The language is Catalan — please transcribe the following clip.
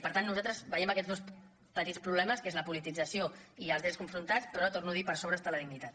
per tant nosaltres veiem aquests dos petits problemes que és la politització i els drets confrontats però ho torno a dir per sobre hi ha la dignitat